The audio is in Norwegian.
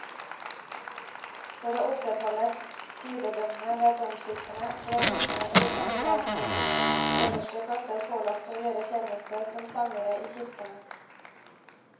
For å opprettholde tidebønnene ved domkirkene ble guttene i katedralskolenes øverste klasser pålagt å gjøre tjeneste som sangere i kirkene.